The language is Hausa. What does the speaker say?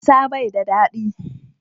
Barasa bai da dadi.